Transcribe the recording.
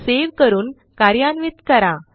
save करून कार्यान्वित करा